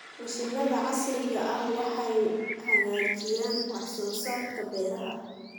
Mashiinnada casriga ah waxay hagaajiyaan wax soo saarka beeraha.